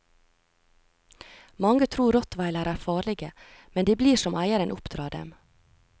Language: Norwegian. Mange tror rottweilere er farlige, men de blir som eieren oppdrar dem.